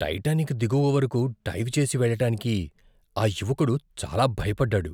Titanic దిగువ వరకు dive చేసి వెళ్ళడానికి ఆ యువకుడు చాలా భయపడ్డాడు.